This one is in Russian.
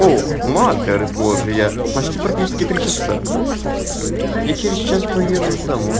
у матерь божия упасть и практически три часа я через час приеду уже домой